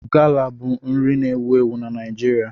Gala bụ nri na-ewu ewu na Naịjirịa.